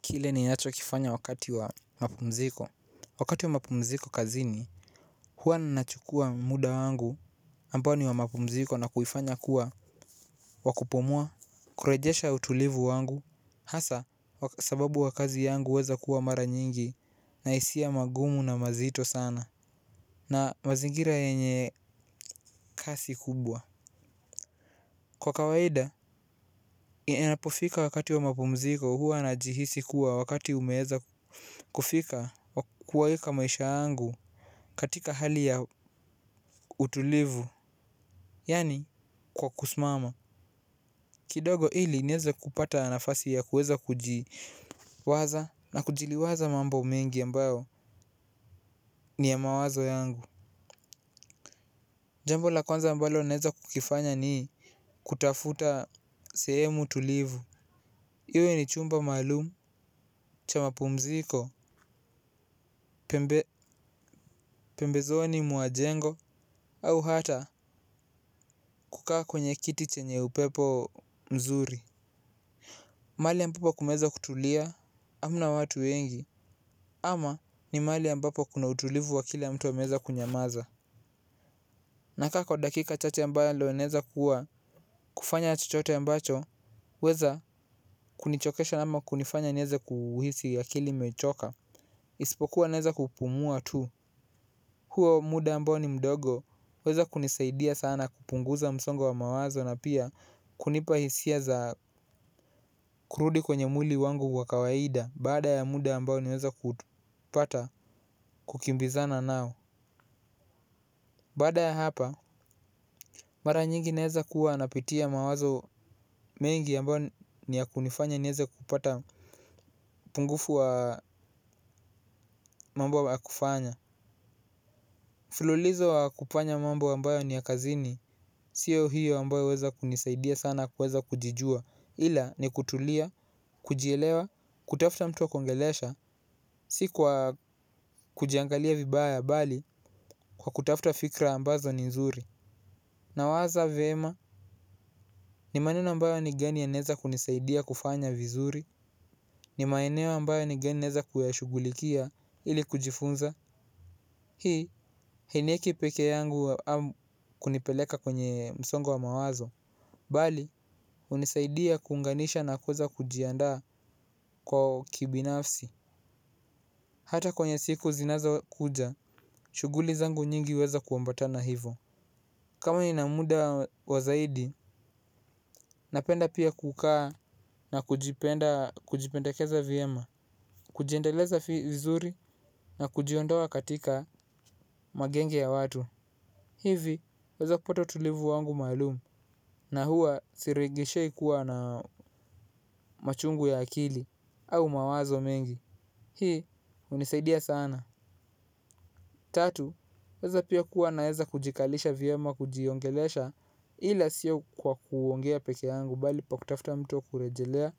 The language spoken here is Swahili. Kile ni yacho kifanya wakati wa mapumziko. Wakati wa mapumziko kazini. Hua nnachukua muda wangu ambao ni wa mapumziko na kuifanya kuwa wakupomua. Kurejesha utulivu wangu. Hasa sababu wa kazi yangu weza kuwa mara nyingi na hisia magumu na mazito sana. Na mazingira yenye kasi kubwa. Kwa kawaida. Inapofika wakati wa mapumziko huwa na jihisi kuwa wakati umeeza kufika wa kuwaeka maisha angu katika hali ya utulivu. Yani kwa kusmama kidogo ili nieze kupata nafasi ya kuweza kujiwaza. Na kujiliwaza mambo mengi ambayo ni ya mawazo yangu. Jambo la kwanza ambalo naeza kukifanya ni kutafuta sehemu tulivu. Iwe ni chumba maalum cha mapumziko. Pembezoni mwa jengo au hata kukaa kwenye kiti chenye upepo mzuri. Mahali ambapo kumeweza kutulia, amna watu wengi, ama ni mahali ambapo kuna utulivu wa akili ya mtu ameeza kunyamaza. Na kaa kwa dakika chache mbayo ndiyo ineza kuwa kufanya chochote ambacho, huweza kunichokesha ama kunifanya nieze kuuhisi akili imechoka. Isipokuwa naeza kupumua tu, huo muda ambao ni mdogo, huweza kunisaidia sana kupunguza msongo wa mawazo na pia kunipa hisia za kurudi kwenye mwili wangu wa kawaida, baada ya muda ambao niweza kutupata kukimbizana nao baada ya hapa mara nyingi naeza kuwa napitia mawazo mengi ambayo ni ya kunifanya nieze kupata upungufu wa mambo ya kufanya mfululizo wa kufanya mambo ambayo ni ya kazini sio hiyo ambayo huweza kunisaidia sana kuweza kujijua ila ni kutulia kujielewa kutafuta mtu wa kuongelesha si kwa kujiangalia vibaya bali kwa kutafuta fikra ambazo ni nzuri. Na waza vema ni maneno ambayo ni gani ya neza kunisaidia kufanya vizuri. Ni maeneo mbayo ni gani naeza kuyashugulikia ili kujifunza. Hii, hainieki pekee yangu kunipeleka kwenye msongo wa mawazo bali hunisaidia kuunganisha na kuweza kujiandaa kwa kibinafsi. Hata kwenye siku zinazo kuja, shuguli zangu nyingi huweza kuambata na hivo kama ina muda kwa zaidi napenda pia kukaa na kujipenda kujipendekeza vyema. Kujiendeleza vizuri na kujiondoa katika magenge ya watu. Hivi, huweza kupata utulivu wangu maalumu na hua siregeshei kua na machungu ya akili au mawazo mengi. Hii, hunisaidia sana. Tatu, weza pia kuwa naweza kujikalisha viyama kujiongelesha ila siyo kwa kuongea peke yangu bali pa kutafuta mtu wa kurejelea